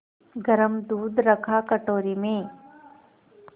गरम दूध रखा कटोरी में